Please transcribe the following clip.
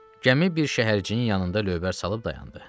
Gəmi bir şəhərciyin yanında lövbər salıb dayandı.